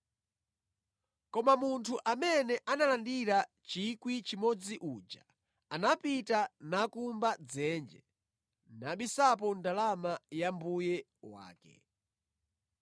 Koma munthu amene analandira 1,000 uja, anapita nakumba dzenje nabisapo ndalama ya mbuye wake.